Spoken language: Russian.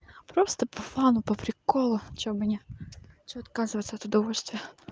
просто по фану по приколу что меня что отказываться от удовольствия